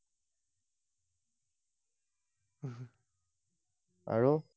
আৰু?